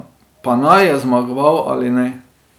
Pa naj je zmagoval ali ne.